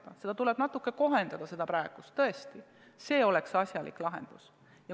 Seda meedet tuleb natuke kohendada tõesti, aga see oleks asjalik lahendus.